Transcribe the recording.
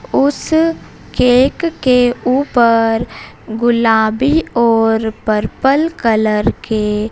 उस केक के ऊपर गुलाबी और पर्पल कलर के--